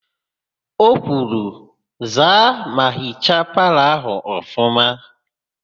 O kwuru, "zaa ma hichaa palọ ahụ ọfụma"!